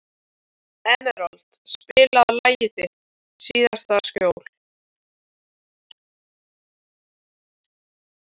Emerald, spilaðu lagið „Þitt síðasta skjól“.